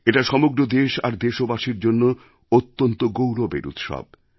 এটা সমগ্র দেশ আর দেশবাসীর জন্যও অত্যন্ত গৌরবের উৎসব